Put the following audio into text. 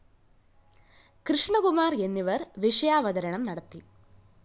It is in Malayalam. കൃഷ്ണകുമാര്‍ എന്നിവര്‍ വിഷയാവതരണം നടത്തി